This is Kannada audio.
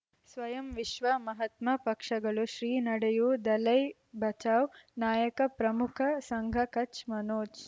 ಸ್ವಯಂ ವಿಶ್ವ ಮಹಾತ್ಮ ಪಕ್ಷಗಳು ಶ್ರೀ ನಡೆಯೂ ದಲೈ ಬಚೌ ನಾಯಕ ಪ್ರಮುಖ ಸಂಘ ಕಚ್ ಮನೋಜ್